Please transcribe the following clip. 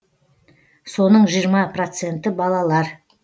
соның жиырма проценті балалар